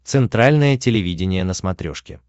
центральное телевидение на смотрешке